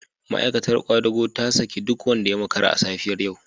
Ma'aikatar kwadago ta saki duk wanda ya makara a safiyar yau